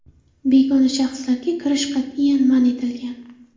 Begona shaxslarga kirish qat’iyan man etilgan.